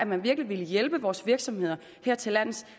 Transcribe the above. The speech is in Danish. man virkelig vil hjælpe vores virksomheder hertillands